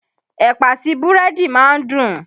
Ẹ̀pà àtí búrẹ́dì ma ń dùn.